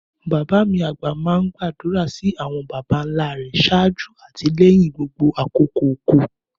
Bàbá mi àgbà máa ń gbàdúrà sí àwọn baba ńlá rẹ̀ ṣáájú àti lẹ́yìn gbogbo àkókò oko